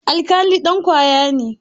Alkali dan kwaya ne.